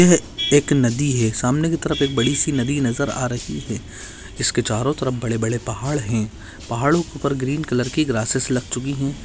यह एक नदी है। सामने की तरफ एक बड़ी सी नदी नजर आ रही है। इसके चारो तरफ बड़े बड़े पहाड़ है। पहाड़ों के ऊपर ग्रीन कलर की ग्रासेस लग चुकी है।